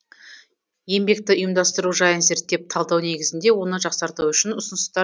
еңбекті ұйымдастыру жайын зерттеп талдау негізінде оны жақсарту үшін ұсыныстар